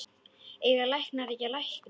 Eiga læknar ekki að lækna?